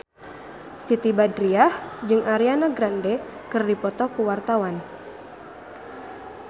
Siti Badriah jeung Ariana Grande keur dipoto ku wartawan